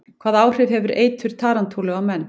Hvaða áhrif hefur eitur tarantúlu á menn?